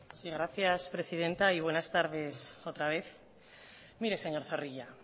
sí gracias presidenta y buenas tardes otra vez mire señor zorrilla